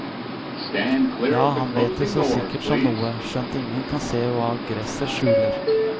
Ja, han vet det så sikkert som noe, skjønt ingen kan se hva gresset skjuler.